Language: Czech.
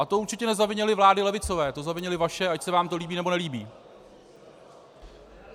A to určitě nezavinily vlády levicové, to zavinily vaše, ať se vám to líbí nebo nelíbí.